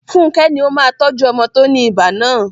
Funke ni ó máa tọ́jú ọmọ tó ní ibà náà..